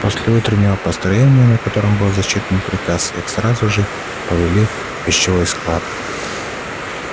после утреннего построения на котором был зачитан приказ их сразу же повели в вещевой склад